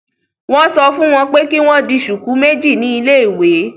Won so fun wọn pé kì wọn dì shuku méjì ní ile-iwe